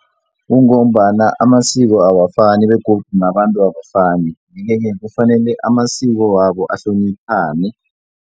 Kungombana amasiko awafani begodu nabantu abafani yeke-ke kufanele amasiko wabo ahloniphane.